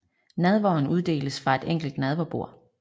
Nadveren uddeles fra et enkelt nadverbord